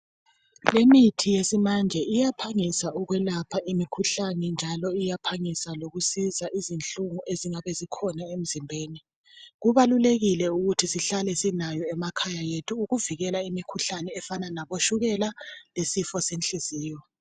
Imithi yesimanje iyaphangisa ukwelapha imikhuhlane njalo iyaphangisa ukusiza izinhlungu ezingabe zikhona emzimbeni. Kubalulekile ukuthi sihlale silayo emakhaya ethu ukuvikela imikhuhlane efana labotshukela lesifo senhliziyo.